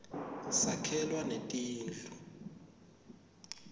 sakhelwa netindlu